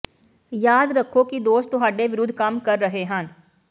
ਯਾਦ ਰੱਖੋ ਕਿ ਦੋਸ਼ ਤੁਹਾਡੇ ਵਿਰੁੱਧ ਕੰਮ ਕਰ ਰਹੇ ਹਨ